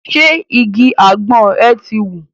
Ṣé igi àgbọn ẹ̀ ti wù?